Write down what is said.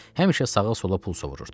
Həmişə sağa-sola pul sovururdu.